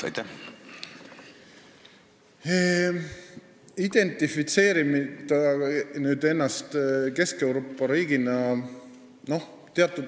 Teatud mõttes identifitseerime ennast Kesk-Euroopa riigina küll.